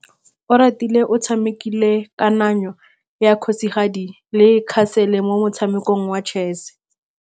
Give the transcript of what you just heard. Oratile o tshamekile kananyô ya kgosigadi le khasêlê mo motshamekong wa chess.